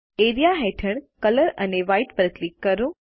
A R E A હેઠળ colour અને white પર ક્લિક કરો